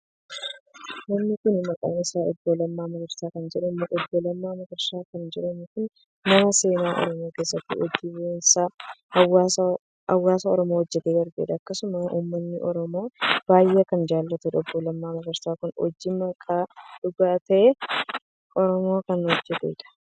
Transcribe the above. Namni kun maqaa isaa Obbo Lammaa Magarsaa kan jedhamuudha. Obbo Lammaa Magarsaa kan jedhamu kun nama seenaa Oromoo keessatti hojii boonsaa hawaasa Oromoo hojjetee darbeedha. Akkasumallee uummanni Oromoos baay'ee kan jaallatuudha. Obbo Lammaa Magarsaa kun hojii haqaaf dhugaa tahe Oromoof kan hojjeteedha.